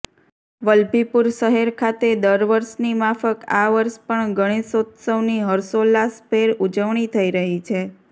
વલભીપુર શહેર ખાતે દર વર્ષની માફક આ વર્ષ પણ ગણેશોત્સવની હર્ષોલ્લાસભેર ઉજવણી થઈ રહી છે